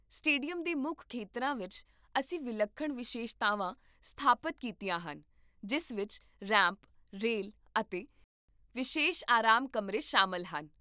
stadium ਦੇ ਮੁੱਖ ਖੇਤਰਾਂ ਵਿੱਚ, ਅਸੀਂ ਵਿਲੱਖਣ ਵਿਸ਼ੇਸ਼ਤਾਵਾਂ ਸਥਾਪਤ ਕੀਤੀਆਂ ਹਨ, ਜਿਸ ਵਿੱਚ ਰੈਂਪ, ਰੇਲ ਅਤੇ ਵਿਸ਼ੇਸ਼ ਆਰਾਮ ਕਮਰੇ ਸ਼ਾਮਲ ਹਨ